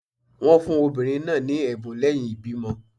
Wọn fun obinrin naa ni ẹbun lẹhin ibimọ